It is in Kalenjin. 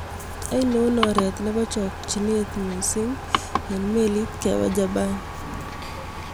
Ainon ooreet ne po chokyinet miising' eng' meliit kepaa Japan